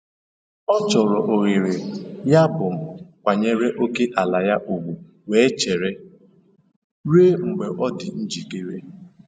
Ọ chọrọ ohere, yabụ m kwanyere ókèala ya ugwu wee chere ruo mgbe ọ dị njikere.